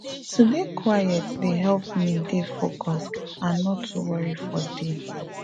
to dey quiet dey help me dey focus and no too worry for day